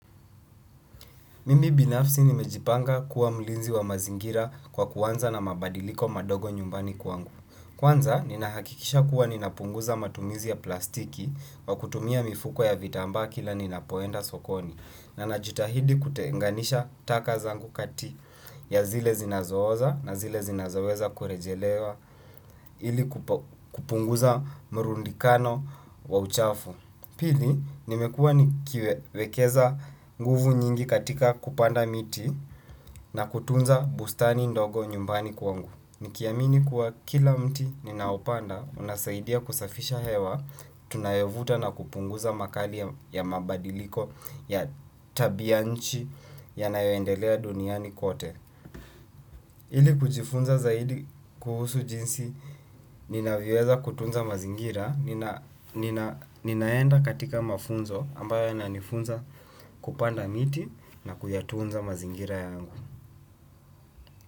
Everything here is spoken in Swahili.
Mimi binafsi nimejipanga kuwa mlinzi wa mazingira kwa kuanza na mabadiliko madogo nyumbani kwangu. Kwanza, ninahakikisha kuwa ninapunguza matumizi ya plastiki kwa kutumia mifuko ya vitambaa kila ninapoenda sokoni. Na najitahidi kutenganisha taka zangu kati ya zile zinazooza na zile zinazoweza kurejelewa ili kupunguza mrundikano wa uchafu. Pili, nimekuwa nikiwewekeza nguvu nyingi katika kupanda miti na kutunza bustani ndogo nyumbani kwangu. Nikiamini kuwa kila mti ninaopanda, unasaidia kusafisha hewa, tunayovuta na kupunguza makali ya mabadiliko ya tabianchi ya nayoendelea duniani kote. Ili kujifunza zaidi kuhusu jinsi, ninavyoweza kutunza mazingira, ninaenda katika mafunzo ambayo yananifunza kupanda miti na kuyatunza mazingira yangu.